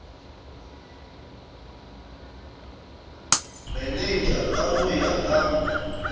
manager ka ho ya ka